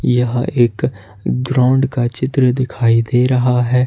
यह एक ग्राउंड का चित्र दिखाई दे रहा है।